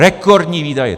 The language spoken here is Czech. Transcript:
Rekordní výdaje.